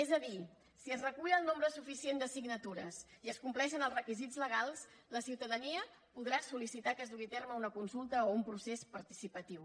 és a dir si es recull el nombre suficient de signatures i es compleixen els requisits legals la ciutadania podrà solme una consulta o un procés participatiu